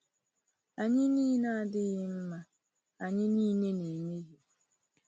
Anyị niile adịghị mma, anyị niile na-emehie.